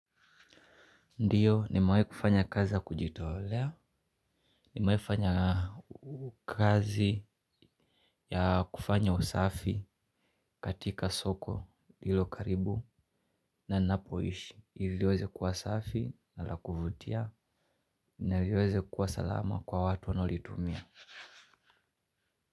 Ndio, nimawahi kufanya kazi kujitolea, nimawahi fanya kazi ya kufanya usafi katika soko lilo karibu na ninapoishi, ili liweze kuwa usafi na la kuvutia, naliweze kuwa salama kwa watu wanaolitumia.